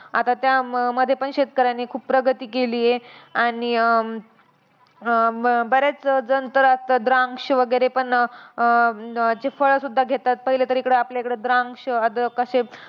आता त्याम मध्ये पण शेतकऱ्यांनी खूप प्रगती केलीय. आणि अं अं बऱ्याचजण तर असतात द्रांक्ष वगैरे पण अं ते फळं सुद्धा घेतात. पहिले तर इकडं आपल्या इकडं द्रांक्ष अद्रक अशे